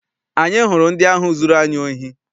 Anyị hụrụ ndị ahụ zụrụ anyị ohi.